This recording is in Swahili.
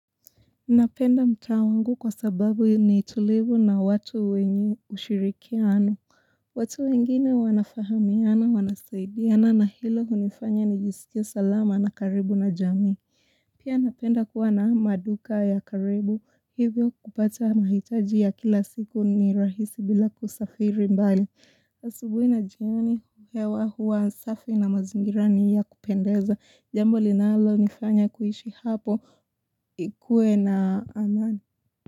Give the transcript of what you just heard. Napenda mtaa wangu kwa sababu ni tulivu na watu wenye ushirikiano. Watu wengine wanafahamiana, wanasaidiana na hilo hunifanya nijisikie salama na karibu na jamii. Pia napenda kuwa na maduka ya karibu. Hivyo kupata mahitaji ya kila siku ni rahisi bila kusafiri mbali. Asubuhi na jioni hewa huwa safi na mazingira ni ya kupendeza. Jambo linalonifanya kuishi hapo ikue na amani.